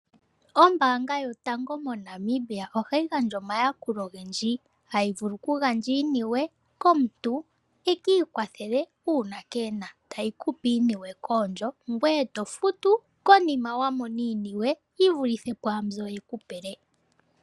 Ombaanga yotango moNamibia ohayi gandja omayakulo ogendji ngaashi, hayivulu okugandja iiniwe komuntu ekiikwathele uuna keena tayekupe iinima koondjo ngoye tofutu konima wamona iiniwe yivulithe pwaanzoka yekupele'.